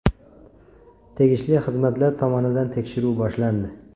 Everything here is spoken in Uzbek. Tegishli xizmatlar tomonidan tekshiruv boshlandi.